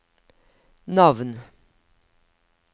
navn